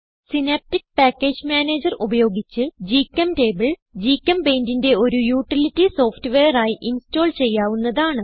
synaptic package manager ഉപയോഗിച്ച് GChemTable GChemPaintന്റെ ഒരു യൂട്ടിലിറ്റി സോഫ്റ്റ്വെയർ ആയി ഇൻസ്റ്റോൾ ചെയ്യാവുന്നതാണ്